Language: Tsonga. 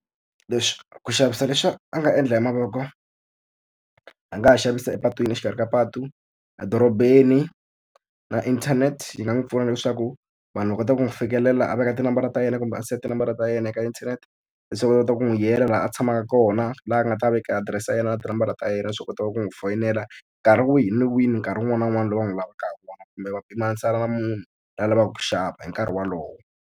ku xavisa leswiya a nga endla hi mavoko, a nga ha xavisa epatwini exikarhi ka patu, edorobeni na internet yi nga n'wi pfuna leswaku vanhu va kota ku n'wi fikelela a veka tinambara ta yena kumbe a siya tinambara ta yena eka inthanete. Leswaku va ta kota ku n'wi yela laha a tshamaka kona, laha a nga ta veka adirese ya yena na tinambara ta yena leswaku va kotaka ku n'wi foyinela nkarhi wihi na wihi, nkarhi wun'wana na wun'wana loyi va n'wi lavaka hi wona. Kumbe va pimanisela na munhu loyi a lavaka ku xava hi nkarhi wolowo.